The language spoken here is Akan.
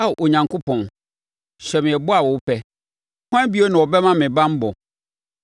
“Ao Onyankopɔn, hyɛ me ɛbɔ a wopɛ. Hwan bio na ɔbɛma me banbɔ?